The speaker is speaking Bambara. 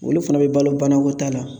Olu fɛnɛ be balo banakɔta la